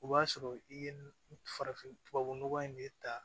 O b'a sɔrɔ i ye n farafin nɔgɔ in ne ta